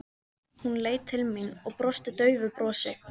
Hún leit til mín og brosti daufu brosi.